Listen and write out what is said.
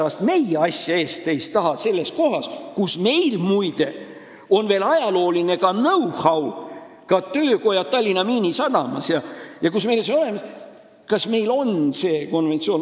Ja seda muide, asja eest, teist taga, kohas, kus meil on veel olemas ka ajalooline know-how, töökojad Tallinna miinisadamas – see kõik on meil olemas.